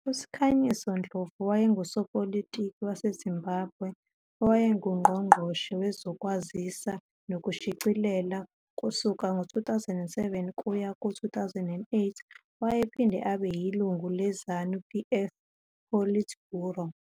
USikhanyiso Ndlovu wayengusopolitiki waseZimbabwe owayenguNgqongqoshe Wezokwazisa Nokushicilela kusuka ngo-2007 kuya ku-2008. Wayephinde abe yilungu leZANU-PF Politburo.